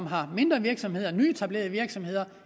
har mindre virksomheder nyetablerede virksomheder